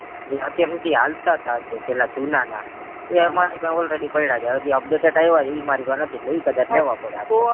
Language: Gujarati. જે અત્યાર હુધી હાલતા હતા જે પેલા જુના ના એ એમાં ની already પડ્યા છે હજી updated આવ્યા છે ઈ મારી પાસે નથી એટલે ઈ કદાચ લેવા પડે આપડે